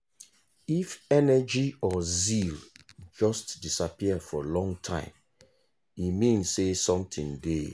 if energy or zeal just disappear for long time e mean say something dey.